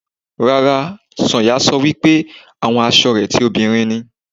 Rárá, Sànyà sọ wípé àwọn asọ rẹ ti òbinrín ni.